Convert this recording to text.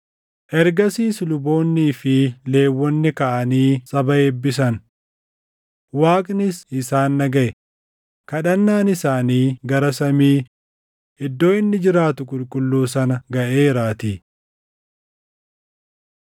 Ergasiis luboonnii fi Lewwonni kaʼanii saba eebbisan; Waaqnis isaan dhagaʼe; kadhannaan isaanii gara samii, iddoo inni jiraatu qulqulluu sana gaʼeeraatii.